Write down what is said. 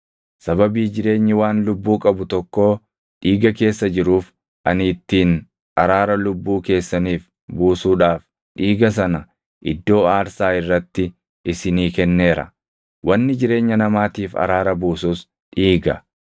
Sababii jireenyi waan lubbuu qabu tokkoo dhiiga keessa jiruuf ani ittiin araara lubbuu keessaniif buusuudhaaf dhiiga sana iddoo aarsaa irratti isinii kenneera; wanni jireenya namaatiif araara buusus dhiiga.